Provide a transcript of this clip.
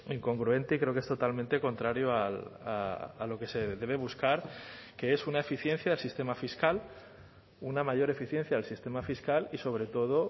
incongruente y creo que es totalmente contrario a lo que se debe buscar que es una eficiencia del sistema fiscal una mayor eficiencia del sistema fiscal y sobre todo